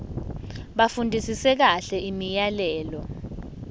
bafundisise kahle imiyalelo